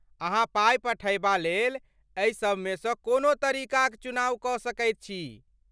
अहाँ पाइ पठयबा लेल एहि सबमेसँ कोनो तरीकाक चुनाव कऽ सकैत छी।